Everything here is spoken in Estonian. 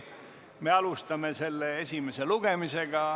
Me alustame selle esimest lugemist.